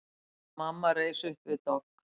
Mamma reis upp við dogg.